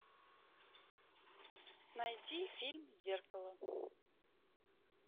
найди фильм зеркало